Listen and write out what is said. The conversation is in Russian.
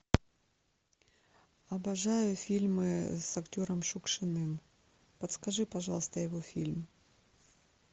обожаю фильмы с актером шукшиным подскажи пожалуйста его фильм